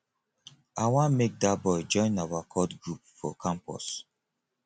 i wan make dat boy join our cult group for campus